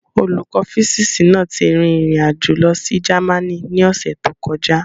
Olùkọ́ físíìsì náà ti rin ìrìn àjò lọ sí Germany ní ọ̀sẹ̀ tó kọjá.